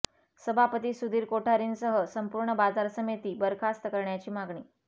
सभापती सुधीर कोठारी सह संपूर्ण बाजार समिती बरखास्त करण्याची मागणी